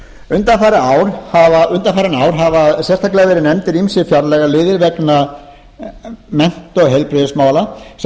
um það undanfarin ár hafa sérstaklega verið nefndir ýmsir fjárlagaliðir vegna mennta og heilbrigðismála sem hafa